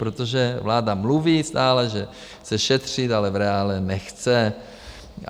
Protože vláda mluví stále že chce šetřit, ale v reálu nechce.